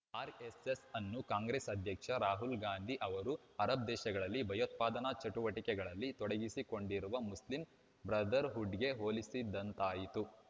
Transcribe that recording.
RSS ಅನ್ನು Congress ಅಧ್ಯಕ್ಷ ರಾಹುಲ್‌ ಗಾಂಧಿ ಅವರು ಅರಬ್‌ ದೇಶಗಳಲ್ಲಿ ಭಯೋತ್ಪಾದನಾ ಚಟುವಟಿಕೆಗಳಲ್ಲಿ ತೊಡಗಿಸಿಕೊಂಡಿರುವ ಮುಸ್ಲಿಂ ಬ್ರದರ್‌ಹುಡ್‌ಗೆ ಹೋಲಿಸಿದ್ದಾಯ್ತು